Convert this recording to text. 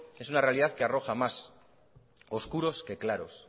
es una realidad que arroja más oscuros que claros